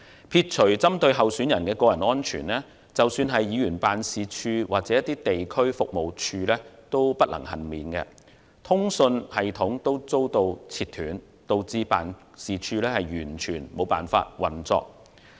撇除針對候選人的個人安全，即使是議員辦事處或地區服務處也不能幸免，連通訊系統也遭截斷，導致辦事處完全無法運作。